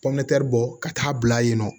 pɔmɛri bɔ ka taa bila yen nɔ